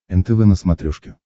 нтв на смотрешке